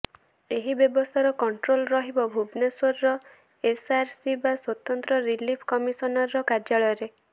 ଏହି ବ୍ୟବସ୍ଥାର କଂଟ୍ରୋଲ ରହିବ ଭୁବନେଶ୍ୱରର ଏସଆରସି ବା ସ୍ୱତନ୍ତ୍ର ରିଲିଫ କମିସନର କାର୍ଯ୍ୟାଳୟରେ